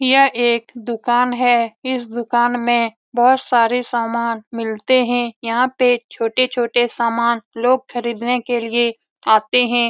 यह एक दुकान है। इस दुकान में बहुत सारे समान मिलते हैं। यहाँ पे छोटे-छोटे सामान लोग खरीदने के लिए आते हैं।